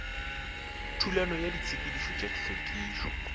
thulano ya ditshepetšo tša hlwekišo